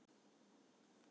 """Jú, ég hugsa það nú."""